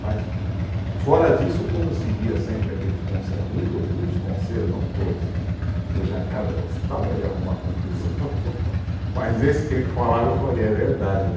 Mas, fora disso, como eu seguia sempre aqueles, um um dos conselhos, não todos, que o Jangada gostava de arrumar confusão, mas esse que ele falava, eu falei, é verdade, né